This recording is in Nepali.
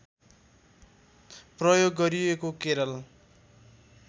प्रयोग गरिएको केरल